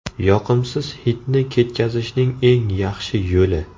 Yoqimsiz hidni ketkazishning eng yaxshi yo‘li.